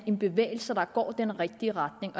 en bevægelse der går i den rigtige retning